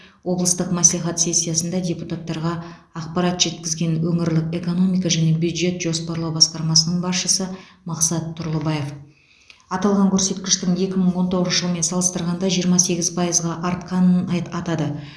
облыстық мәслихат сессиясында депутаттарға ақпарат жеткізген өңірлік экономика және бюджет жоспарлау басқармасының басшысы мақсат тұрлыбаев аталған көрсеткіштің екі мың он тоғызыншы жылмен салыстырғанда жиырма сегіз пайызға артқанын айт атады